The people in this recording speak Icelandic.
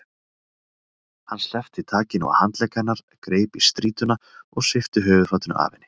Hann sleppti takinu á handlegg hennar, greip í strýtuna og svipti höfuðfatinu af henni.